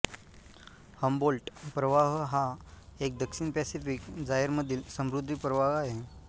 Humboldt प्रवाह हा एक दक्षिण पॅसिफिक जायर मधील समुद्री प्रवाह आहे